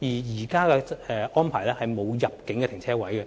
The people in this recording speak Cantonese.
現行安排不設入境車輛泊車位。